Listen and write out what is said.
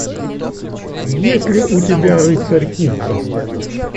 есть ли у тебя рыцарь кубков